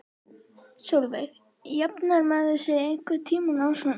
Sólveig: Jafnar maður sig einhvern tímann á svona?